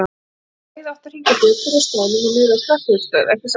Það hefðu bæði átt að hringja bjöllur á staðnum og niðri á slökkvistöð, ekki satt?